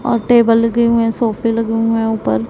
और टेबल लगे हुए हैं सोफे लगे हुए हैं ऊपर।